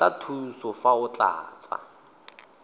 batla thuso fa o tlatsa